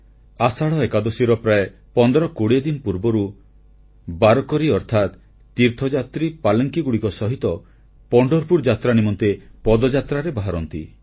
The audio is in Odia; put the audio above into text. ଆଷାଢ଼ ଏକାଦଶୀର ପ୍ରାୟ 1520 ଦିନ ପୂର୍ବରୁ ବାରକରୀ ଅର୍ଥାତ୍ ତୀର୍ଥଯାତ୍ରୀ ପାଲଙ୍କିଗୁଡ଼ିକ ସହିତ ପଣ୍ଢରପୁର ଯାତ୍ରା ନିମନ୍ତେ ପଦଯାତ୍ରାରେ ବାହାରନ୍ତି